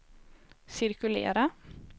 cirkulera